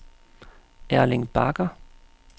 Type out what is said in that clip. Erling Bagger